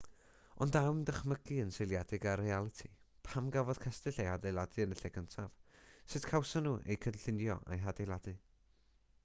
ond a yw'n dychymyg yn seiliedig ar realiti pam gafodd cestyll eu hadeiladu yn y lle cyntaf sut gawson nhw eu cynllunio a'u hadeiladu